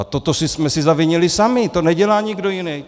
A toto jsme si zavinili sami, to nedělá nikdo jiný.